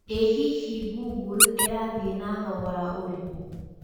ĩ hihi google ĩrathĩe na thogora ũrĩkũ